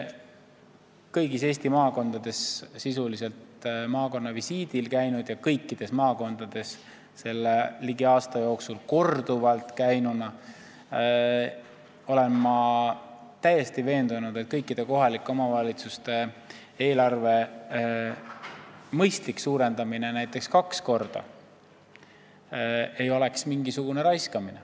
Olen sisuliselt kõigis Eesti maakondades selle ligi aasta jooksul korduvalt visiitidel käinud ja täiesti veendunud, et kõikide kohalike omavalitsuste eelarve mõistlik suurendamine näiteks kaks korda ei oleks mingisugune raiskamine.